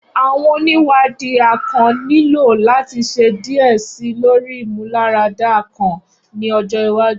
Awọn oniwadi akàn nilo lati ṣe diẹ sii lori imularada akàn ni ọjọ iwaju.